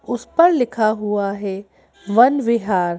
उस पर लिखा हुआ है वन विहार।